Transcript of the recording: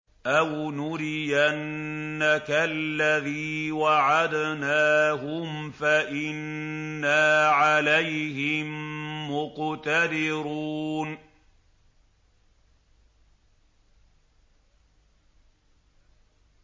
أَوْ نُرِيَنَّكَ الَّذِي وَعَدْنَاهُمْ فَإِنَّا عَلَيْهِم مُّقْتَدِرُونَ